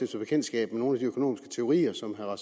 bekendtskab med nogle af de økonomiske teorier som herre